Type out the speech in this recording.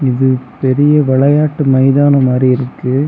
இது பெரிய வெளையாட்டு மைதானம் மாறி இருக்கு.